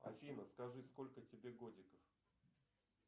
афина скажи сколько тебе годиков